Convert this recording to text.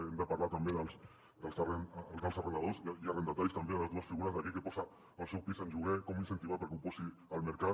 hem de parlar també dels arrendadors i arrendataris també de les dues figures d’aquell que posa el seu pis en lloguer com incentivar que el posi al mercat